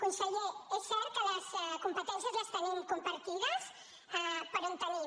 conseller és cert que les competències les tenim compartides però en tenim